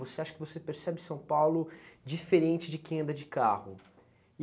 Você acha que você percebe São Paulo diferente de quem anda de carro.